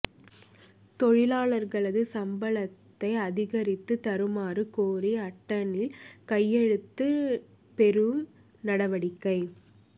தொழிலாளர்களது சம்பளத்தை அதிகரித்து தருமாறு கோரி அட்டனில் கையெழுத்து பெறும் நடவடிக்கை